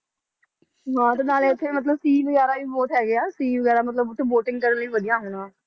ਹਾਂ ਤੇ ਨਾਲੇ ਉੱਥੇ ਮਤਲਬ sea ਵਗ਼ੈਰਾ ਵੀ ਬਹੁਤ ਹੈਗੇ ਆ sea ਵਗ਼ੈਰਾ ਮਤਲਬ ਉੱਥੇ boating ਕਰਨ ਲਈ ਵਧੀਆ ਹੋਣਾ।